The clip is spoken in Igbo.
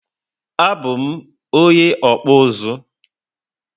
A bu m onye okpu uzu